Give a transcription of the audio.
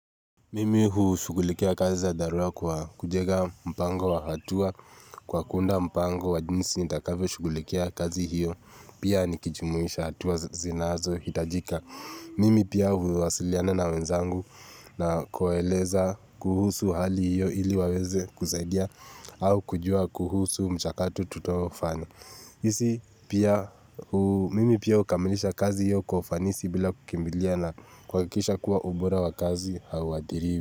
Mimi hu shugulikia kazi za dharua kwa kujega mpango wa hatua kwa kuunda mpango wa jinsi nitakavyo shugulikia kazi hiyo pia nikijumuisha hatua zinazo hitajika Mimi pia huwasiliana na wenzangu na kuwaeleza kuhusu hali hiyo ili waweze kusaidia au kujua kuhusu mchakato tutofanya Izi pia mimi pia hukamilisha kazi hiyo kwa ufanisi bila kukimbiliana kuhahakisha kuwa ubora wa kazi hauadhiriwi.